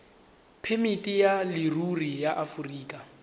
phemiti ya leruri ya aforika